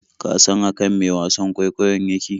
Ka san akan me wasan kwaikwayon yake?